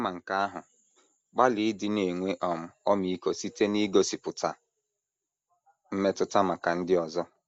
Kama nke ahụ, gbalịa ịdị na - enwe um ọmịiko site n’igosipụta “ mmetụta maka ndị ọzọ. ”